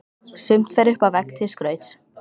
Sumt fer upp á vegg til skrauts.